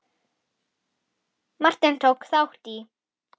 Martin, tók þátt í.